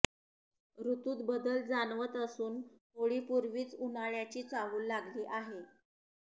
ऋतूत बदल जाणवत असून होळीपूर्वीच उन्हाळ्याची चाहूल लागली आहे